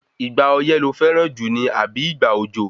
Ìgbà ọyẹ́ lo fẹ́ran jù ni àbí ìgbà òjò?